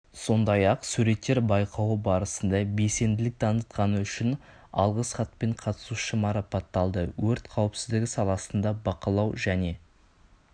сондай-ақ суреттер байқауы барысында белсенділік танытқаны үшін алғыс хатпен қатысушы марапатталды өрт қауіпсіздігі саласында бақылау және